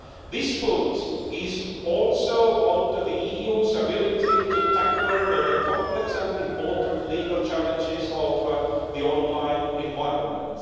This vote is also about the EU's ability to tackle the complex and important legal challenges of the online environment.